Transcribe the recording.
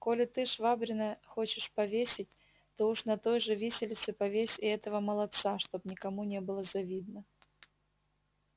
коли ты швабрина хочешь повесить то уж на той же виселице повесь и этого молодца чтоб никому не было завидно